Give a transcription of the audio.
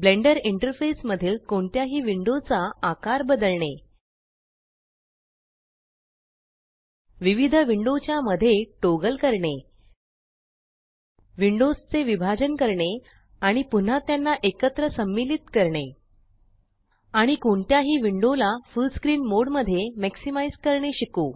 blender interface मधील कोणत्याही विण्डोचा आकार बदलणे विविध विंडोच्या मध्ये टॉगल करणे विंडोस चे विभाजन करणे आणि पुन्हा त्याना एकत्र सम्मिलित करणे आणि कोणत्याही विंडो ला फुल्ल स्क्रीन मोड मध्ये मॅक्सिमाइज़ करणे शिकू